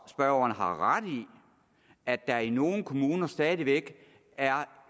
at spørgeren har ret i at der i nogle kommuner stadig væk er